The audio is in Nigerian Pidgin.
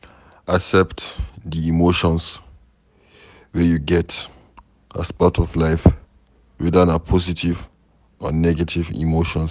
accept di emotions wey you get as part of life weda na positive or negative emotions